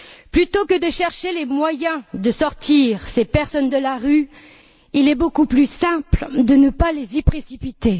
Plutôt que de chercher les moyens de sortir ces personnes de la rue, il est beaucoup plus simple de ne pas les y précipiter.